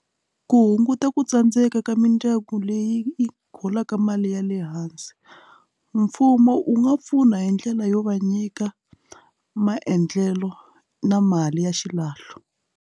Ku hunguta ku tsandzeka ka mindyangu leyi holaka mali ya le hansi mfumo wu nga pfuna hi ndlela yo va nyika maendlelo na mali ya xilahlo.